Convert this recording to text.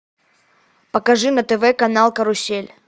покажи на тв канал карусель